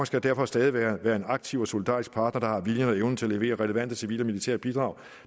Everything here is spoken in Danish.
skal derfor stadig være en aktiv og solidarisk partner der har viljen og evnen til at levere relevante civile og militære bidrag